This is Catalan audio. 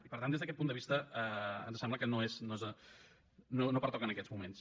i per tant des d’aquest punt de vista ens sembla que no pertoca en aquests moments